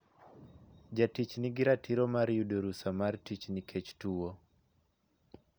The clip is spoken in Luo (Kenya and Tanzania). Jatich nigi ratiro mar yudo rusa mar tich nikech tuwo.